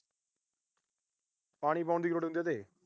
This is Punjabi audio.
ਪਾਣੀ ਪਾਉਣ ਦੀ ਕੀ ਲੋੜ ਹੁੰਦਾ ਆ ਉਹਤੇ।